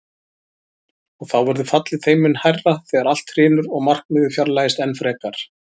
Og þá verður fallið þeim mun hærra þegar allt hrynur og markmiðið fjarlægist enn frekar.